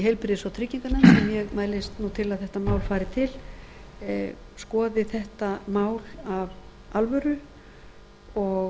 heilbrigðis og trygginganefnd sem ég mælist nú til að þetta mál fari til skoði þetta mál af